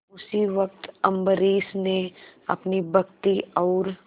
उसी वक्त अम्बरीश ने अपनी भक्ति और